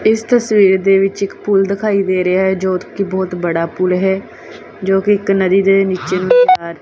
ਇਸ ਤਸਵੀਰ ਦੇ ਵਿੱਚ ਇੱਕ ਪੁੱਲ ਦਿਖਾਈ ਦੇ ਰਿਹਾ ਜੋ ਕਿ ਬਹੁਤ ਬੜਾ ਪੁਲ ਹੈ ਜੋ ਕਿ ਇੱਕ ਨਦੀ ਦੇ ਨੀਚੇ ਨੂੰ।